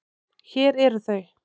Hér eru þau.